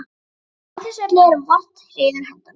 Á þessu öllu eru vart reiður hendandi.